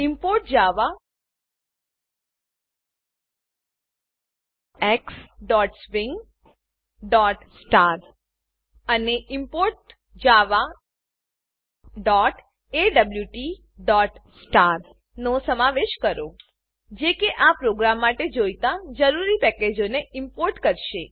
import javaxswing અને import javaawt નો સમાવેશ કરો જે કે આ પ્રોગ્રામ માટે જોઈતા જરૂરી પેકેજોને ઈમ્પોર્ટ કરશે